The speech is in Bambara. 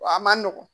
Wa a man nɔgɔn